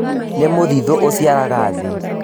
Nĩ mũthiithũ ũciaraga thĩ